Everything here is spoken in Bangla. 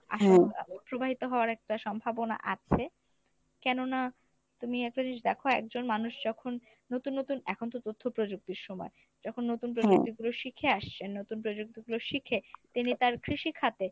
আশংকা প্রবাহিত হওয়ার একটা সম্ভাবনা আছে কেননা, তুমি একটা জিনিস দেখো একজন মানুষ যখন নতুন নতুন এখন তো তথ্য প্রযুক্তির সময়, যখন নতুন প্রযুক্তিগুলো আসছেন নতুন প্রযুক্তিগুলো শিখে তিনি তার কৃষিখাতে